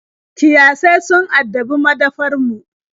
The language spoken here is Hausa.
Kiyasai sun addabi madafar mu.